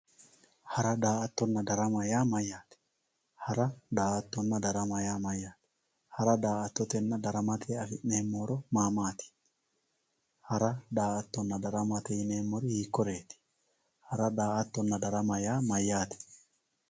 Hara, daa'attonnna darama yaa mayatte, hara daa'attonna, darama yaa mayate, hara, daa'attotenna daramate afi'neemo horo ma maati, hara, daa'attonna daramate yineemori hiikoreeti, hara daa'attonna darama yaa mayate